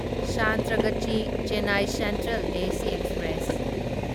Santragachi Chennai central AC express